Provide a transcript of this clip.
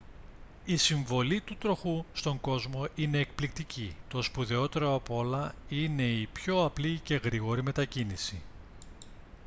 η συμβολή του τροχού στον κόσμο είναι εκπληκτική το σπουδαιότερο απ' όλα είναι η πιο απλή και γρήγορη μετακίνηση